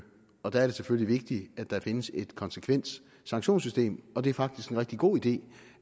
og der er det selvfølgelig vigtigt at der findes et konsekvent sanktionssystem og det er faktisk en rigtig god idé